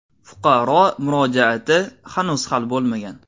Fuqaro murojaati hanuz hal bo‘lmagan.